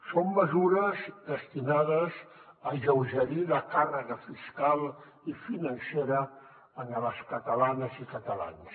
són mesures destinades a alleugerir la càrrega fiscal i financera a les catalanes i catalans